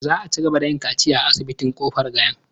Za a cigaba da yin kaciya a asibitin Kofar Gayan.